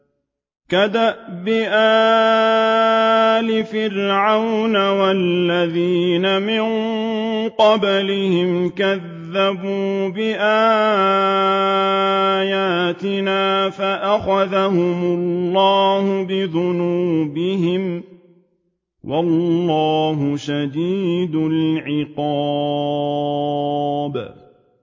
كَدَأْبِ آلِ فِرْعَوْنَ وَالَّذِينَ مِن قَبْلِهِمْ ۚ كَذَّبُوا بِآيَاتِنَا فَأَخَذَهُمُ اللَّهُ بِذُنُوبِهِمْ ۗ وَاللَّهُ شَدِيدُ الْعِقَابِ